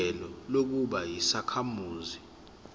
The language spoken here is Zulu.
ilungelo lokuba yisakhamuzi